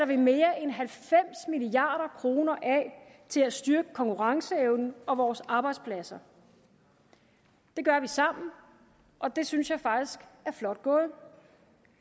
vi mere end halvfems milliard kroner af til at styrke konkurrenceevnen og vores arbejdspladser det gør vi sammen og det synes jeg faktisk er flot gået at